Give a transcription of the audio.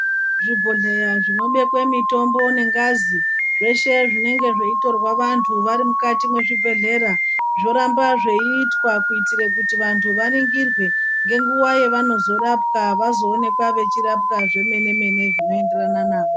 Zvibhodhleya zvinobekwe mitombo nengazi zveshe zvinenge zveitorwe vanthu vari mukati mwezvibhedhlera. Zvoramba zveiitwa kuitire kuti vanthu vaningirwe ngenguwa yevanozorapwa vazoonekwa vechirapwa zvemene mene zvinoenderana navo.